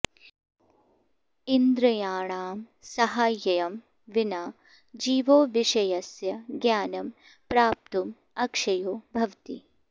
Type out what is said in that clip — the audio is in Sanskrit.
इन्द्रियाणां साहाय्यं विना जीवो विषयस्य ज्ञानं प्राप्तुम् अक्षयो भवति